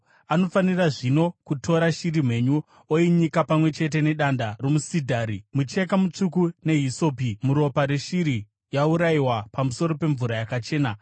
Anofanira zvino kutora shiri mhenyu oinyika pamwe chete nedanda romusidhari, mucheka mutsvuku nehisopi muropa reshiri yaurayiwa pamusoro pemvura yakachena.